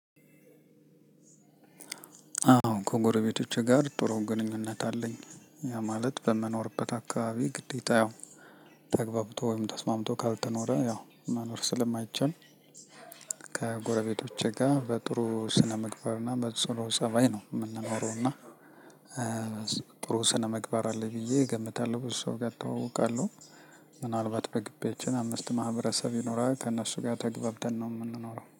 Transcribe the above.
አዎ ከጎረቤቶቼ ጋር ጥሩ ግንኙነት አለኝ ያ ማለት በመኖርበት አካባቢ ግዴታ ያው ተግባብቶ ወይም ተስማምቶ ካልተኖረ ያው መኖር ስለማይቻል። ከጎረቤቶቼ ጋ በጥሩ ስነምግባርና በጽኑ ፀባይ ነው ምንኖረውና ጥሩ ስነምግባር አለኝ ብዬ እገምታለሁ ብዙ ሰው ጋር እተዋወቃለሁ። ምናልባት በግቢያችን አምስት ማህበረሰብ ይኖራል ከእነሱ ጋር ተገብተን ነው የምንኖረው